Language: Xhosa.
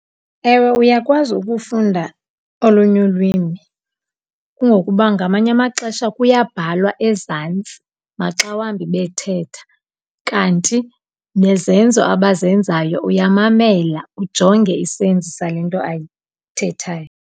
Ewe, uyakwazi ukufunda olunye ulwimi kungokuba ngamanye amaxesha kuyabhalwa ezantsi maxa wambi bethetha. Kanti nezenzo abazenzayo, uyamamela ujonge isenzi sale nto ayithethayo.